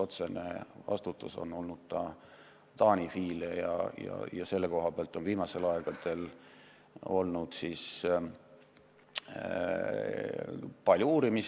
Otsene vastutus on olnud Taani FI-l, kelle tegevust on viimastel aegadel palju uuritud.